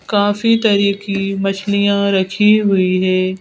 काफी तरह की मछलियां रखी हुई है।